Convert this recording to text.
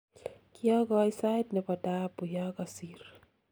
kiokoi sait ne bo daabu ya kosir